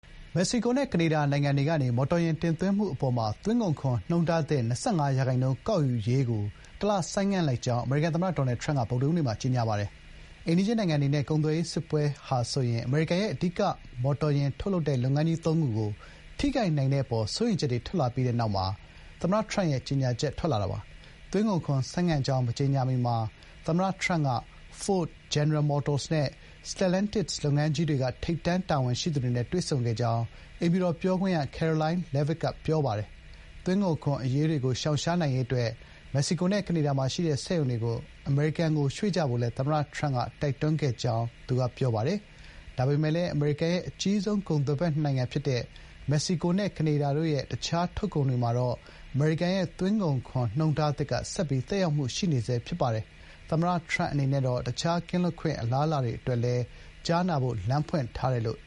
မက္ကဆီကိုနဲ့ ကနေဒါနိုင်ငံတို့ထံကနေ မော်တော်ယာဉ်တင်သွင်းမှု အပေါ်မှာ သွင်းကုန်ခွန် နှုန်းထားသစ် ၂၅ ရာခိုင်နှုန်း ကောက်ယူရေးကို တလ ဆိုင်းငံ့လိုက်ကြောင်း အမေရိကန် သမ္မတ Donald Trump က ဗုဒ္ဓဟူးနေ့မှာ ကြေညာခဲ့ပါတယ်။ အိမ်နီးချင်း နိုင်ငံတွေနဲ့ ကုန်သွယ်ရေး စစ်ပွဲ ဟာဆိုရင် အမေရိကန်ရဲ့ အဓိက မော်တော်ယာဉ် ထုတ်လုပ်တဲ့ လုပ်ငန်းကြီး သုံးခုကို ထိခိုက်နိုင်တဲ့ အပေါ် စိုးရိမ်ချက်တွေ ထွက်လာပြီးနောက်မှာ သမ္မတ Trump ရဲ့ ကြေညာချက် ထွက်ပေါ်လာတာပါ။ သွင်းကုန်ခွန် ဆိုင်းငံ့ကြောင်း မကြေညာမီမှာ သမ္မတ Trump က Ford ၊ General Motors နဲ့ Stellantis လုပ်ငန်းကြီးတွေက ထိပ်တန်း တာဝန်ရှိသူတွေနဲ့ တွေ့ဆုံခဲ့ကြောင်း အိမ်ဖြူတော် ပြောခွင့်ရ Karoline Leavitt က သတင်းထောက်တွေကို ပြောပါတယ်။ သွင်းကုန်ခွန် အရေးတွေကို ရှောင်ရှားနိုင်ရေးအတွက် မက္ကဆီကိုနဲ့ ကနေဒါမှာ ရှိတဲ့ စက်ရုံတွေကို အမေရိကန်ကို ရွှေ့ကြဖို့လည်း သမ္မတ Trump က တိုက်တွန်းခဲ့ကြောင်း သူမကပြောပါတယ်။ ဒါပေမဲ့လို့လည်း အမေရိကန်ရဲ့ အကြီးဆုံး ကုန်သွယ်ဖက်နှစ်နိုင်ငံ ဖြစ်တဲ့ မက္ကဆီကိုနဲ့ ကနေဒါတို့ရဲ့ တခြားသော ထုတ်ကုန်တွေမှာတော့ အမေရိကန်ရဲ့ သွင်းကုန်ခွန် နှုန်းထားသစ်က ဆက်ပြီး သက်ရောက်မှု ရှိနေဆဲဖြစ်ပါတယ်။ သမ္မတ Trump အနေနဲ့ကတော့ တခြားသော ကင်းလွတ်ခွင့် အလားအလာတွေ အတွက်လည်း ကြားနာဖို့ လမ်းဖွင့်ထားပါတယ်လို့